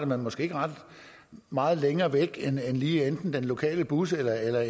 måske ikke ret meget længere væk end lige enten den lokale bus eller eller